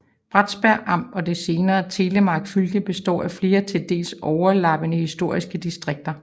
Bratsberg amt og det senere Telemark fylke består af flere tildels overlappende historiske distrikter